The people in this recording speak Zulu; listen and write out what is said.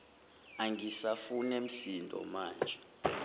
angisafune msindo maje